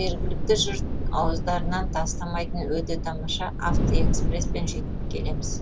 жергілікті жұрт ауыздарынан тастамайтын өте тамаша автоэкспреспен жүйткіп келеміз